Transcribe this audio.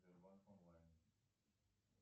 сбербанк онлайн